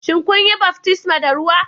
Shin kun yi baftisma ta ruwa